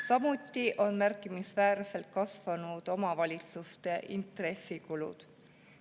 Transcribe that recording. Samuti on märkimisväärselt kasvanud omavalitsuste intressikulud.